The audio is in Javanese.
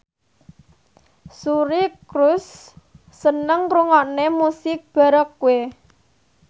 Suri Cruise seneng ngrungokne musik baroque